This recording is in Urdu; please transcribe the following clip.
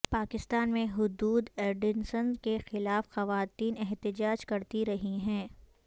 پاکستان میں حدود ارڈیننس ک خلاف خواتین احتجاج کرتی رہی ہیں